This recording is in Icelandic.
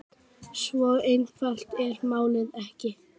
Svo einfalt er málið ekki.